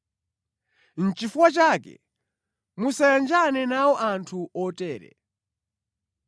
Nʼchifukwa chake musamayanjane nawo anthu otere.